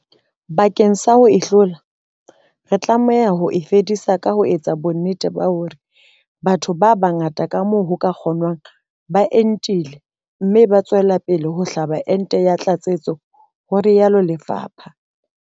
Bakeng sa ho e hlola, re tlameha ho e fedisa ka ho etsa bonnete ba hore batho ba bangata ka moo ho ka kgonwang ba entile mme ba tswela pele ka ho hlaba ente ya tlatsetso, ho rialo lefapha.